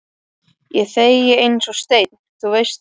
Ég þegi eins og steinn, þú veist það.